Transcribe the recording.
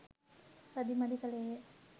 අදි මදි කලේය.